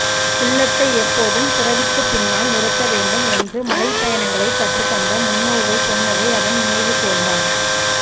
உள்ளத்தை எப்போதும் புரவிக்குப் பின்னால் நிறுத்தவேண்டும் என்று மலைப்பயணங்களை கற்றுத்தந்த முன்னோர்கள் சொன்னதை அவன் நினைவுகூர்ந்தான்